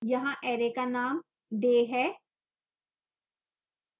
यहाँ array का name day है